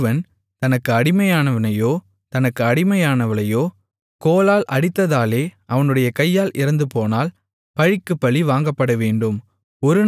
ஒருவன் தனக்கு அடிமையானவனையோ தனக்கு அடிமையானவளையோ கோலால் அடித்ததாலே அவனுடைய கையால் இறந்துபோனால் பழிக்குப்பழி வாங்கப்படவேண்டும்